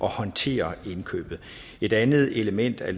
håndtere indkøbet et andet element af